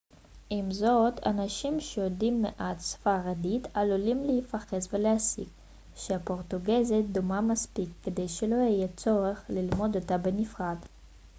עם זאת אנשים שיודעים מעט ספרדית עלולים להיחפז ולהסיק שהפורטוגזית דומה מספיק כדי שלא יהיה צורך ללמוד אותה בנפרד